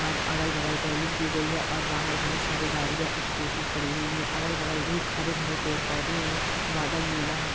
और अगल-बगल रैलिंग की गई है और बाहर बहोत सारे गाड़ियांस्कूटी खड़ी हुई हैं। अगल-बगल भी हरे-भरे पेड़-पौधे है। बादल नीला है।